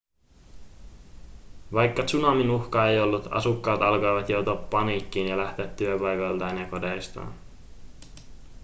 vaikka tsunamin uhkaa ei ollut asukkaat alkoivat joutua paniikkiin ja lähteä työpaikoiltaan ja kodeistaan